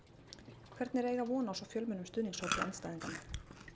Hvernig er að eiga von á svo fjölmennum stuðningshópi andstæðinganna?